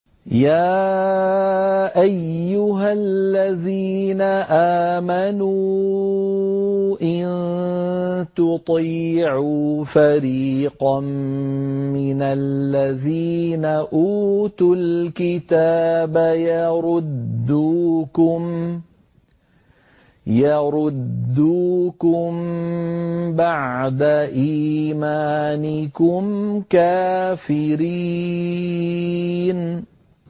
يَا أَيُّهَا الَّذِينَ آمَنُوا إِن تُطِيعُوا فَرِيقًا مِّنَ الَّذِينَ أُوتُوا الْكِتَابَ يَرُدُّوكُم بَعْدَ إِيمَانِكُمْ كَافِرِينَ